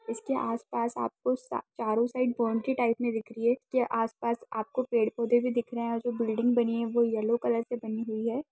इसके आस-पास आपको आ चारो साइड बौंडरी टाइप में दिख रही है इसके आस-पास आपको पड़े-पौधे भी दिख रहे है जो बिल्डिंग बनी है वो येलो कलर से बनी हुई है।